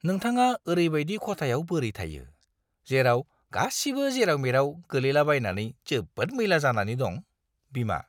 नोंथाङा ओरैबायदि खथायाव बोरै थायो, जेराव गासिबो जेराव-मेराव गोलैलाबायनानै जोबोद मैला जानानै दं। (बिमा)